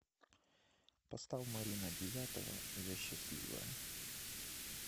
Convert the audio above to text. поставь марина девятова я счастливая